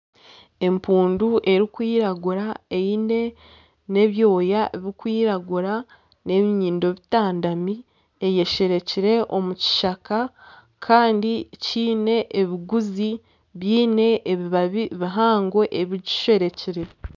Empundu erikwiragura eine n'ebyooya birikwiragira, n'ebinyindo bitandami eyesherekire omukishaka Kandi kiine ebiguzi biine ebibabi bihaango ebigisherekire